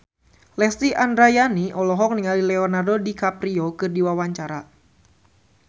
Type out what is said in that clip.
Lesti Andryani olohok ningali Leonardo DiCaprio keur diwawancara